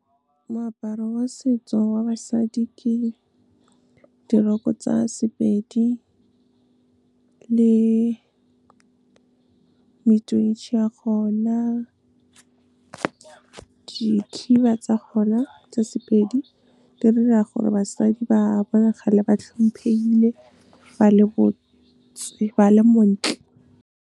Moaparo wa setso wa basadi, ke di-rok-o tsa Sepedi le ya gona, dikhiba tsa gona tsa Sepedi. Di bolelela gore basadi ba bonagale ba hlomphehile ba le botse, ba le montle. Moaparo wa setso wa basadi, ke di-rok-o tsa Sepedi le ya gona, dikhiba tsa gona tsa Sepedi. Di bolelela gore basadi ba bonagale ba hlomphehile ba le botse, ba le montle.